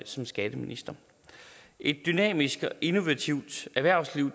som skatteminister et dynamisk og innovativt erhvervsliv